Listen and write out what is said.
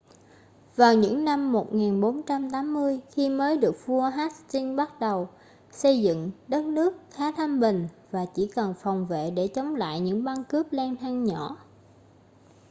vào những năm 1480 khi mới được vua hastings bắt đầu xây dựng đất nước khá thanh bình và chỉ cần phòng vệ để chống lại những băng cướp lang thang nhỏ